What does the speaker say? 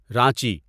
Ranchi